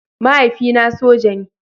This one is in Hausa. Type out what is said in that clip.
Mahaifina soja ne.